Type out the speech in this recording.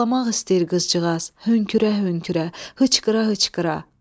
Ağlamaq istəyir qızcığaz, hönkürə-hönkürə, hıçqıra-hıçqıra.